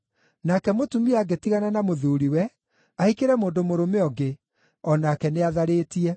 Nake mũtumia angĩtigana na mũthuuriwe, ahikĩre mũndũ mũrũme ũngĩ, o nake nĩ atharĩtie.”